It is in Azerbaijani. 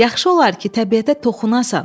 Yaxşı olar ki, təbiətə toxunasan.